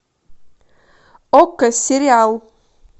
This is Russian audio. окко сериал